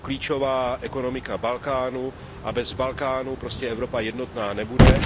Je to klíčová ekonomika Balkánu a bez Balkánu prostě Evropa jednotná nebude.